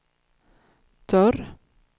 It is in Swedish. dörr